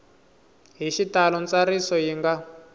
hi xitalo ntsariso yi nga